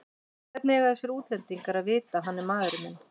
Hvernig eiga þessir útlendingar að vita að hann er maðurinn minn?